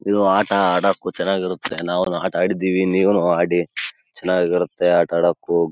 ಚಿತ್ರದಲ್ಲಿ ಹುಡುಗರು ಜಾಗಿಂಗ್ ಮಾಡುತ್ತಿರುವುದನ್ನು ನೋಡಬಹುದು ಇವರು ಕೆಲವರು--